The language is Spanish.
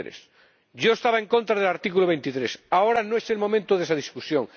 23. Yo estaba en contra del artículo 23. Ahora no es el momento de esa discusión.